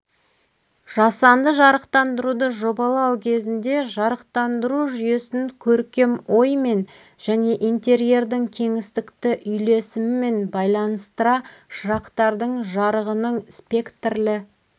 жасанды жарықтандыруды жобалау кезінде жарықтандыру жүйесін көркем оймен және интерьердің кеңістікті үйлесімімен байланыстыра шырақтардың жарығының спектрлі